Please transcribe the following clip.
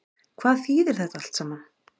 Hvað þýðir þetta allt saman